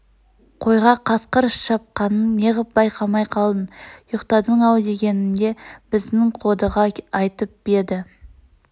қойға қасқыр шапқанын неғып байқамай қалдың ұйықтадың-ау дегенімде бздң қодыға айтып еді